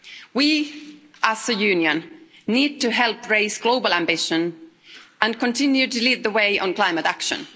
We, as a Union, need to help raise global ambition and continue to lead the way on climate action.